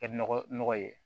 Kɛ nɔgɔ nɔgɔ ye